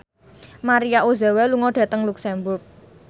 Maria Ozawa lunga dhateng luxemburg